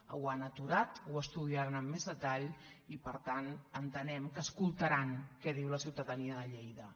ho han aturat ho estudiaran amb més detall i per tant entenem que escoltaran què diu la ciutadania de lleida